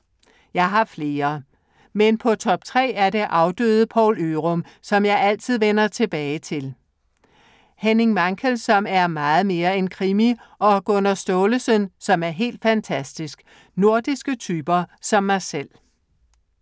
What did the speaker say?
Jeg har flere. Men på top tre er det afdøde Poul Ørum, som jeg altid vender tilbage til. Henning Mankell, som er meget mere end krimi. Og Gunnar Staalesen, som er helt fantastisk. Nordiske typer som mig selv.